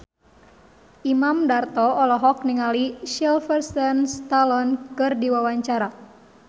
Imam Darto olohok ningali Sylvester Stallone keur diwawancara